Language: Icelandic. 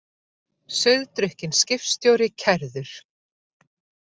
Sauðdrukkinn skipstjóri kærður